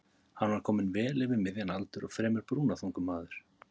Hann var kominn vel yfir miðjan aldur og fremur brúnaþungur maður.